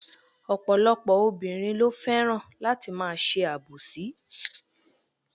Ọ̀pọ̀lọpọ̀ obìnrin lo fẹ́ràn láti ma se àbòsí